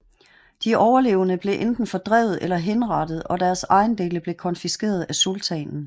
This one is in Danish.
De overlevende blev enten fordrevet eller henrettet og deres ejendele blev konfiskeret af sultanen